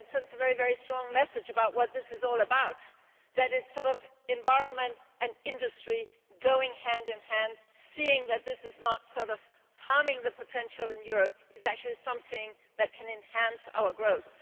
It sends a very strong message about what this is all about, namely the environment and industry going hand in hand and seeing that this is not harming the potential in Europe and is actually something that can enhance our growth.